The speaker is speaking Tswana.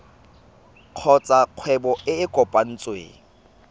kgotsa kgwebo e e kopetsweng